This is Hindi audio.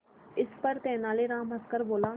इस पर तेनालीराम हंसकर बोला